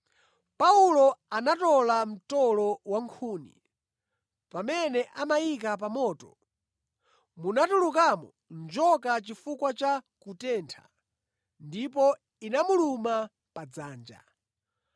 Paulo anatola mtolo wankhuni, pamene amayika pa moto, munatulukamo njoka chifukwa cha kutentha, ndipo inamuluma pa dzanja.